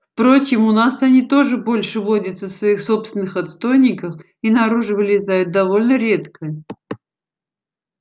впрочем у нас они тоже больше водятся в своих собственных отстойниках и наружу вылезают довольно редко